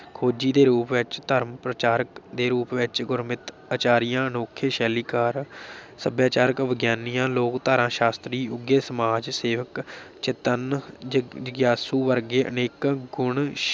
ਖੋਜੀ ਦੇ ਰੂਪ ਵਿਚ, ਧਰਮ ਪ੍ਰਚਾਰਕ ਦੇ ਰੂਪ ਵਿੱਚ, ਗੁਰਮਤਿ ਅਚਾਰੀਆ, ਅਨੋਖੇ ਸ਼ੈਲੀਕਾਰ ਸਭਿਆਚਾਰਕ ਵਿਗਿਆਨੀਆਂ, ਲੋਕਧਾਰਾ ਸ਼ਾਸ਼ਤਰੀ, ਉਘੇ ਸਮਾਜ ਸੇਵਕ ਚੇਤੰਨ ਜਗ ਜਗਿਆਸੂ ਵਰਗੇ ਅਨੇਕ ਗੁਣ